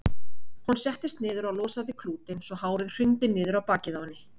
Hún settist niður og losaði klútinn svo hárið hrundi niður á bakið á henni.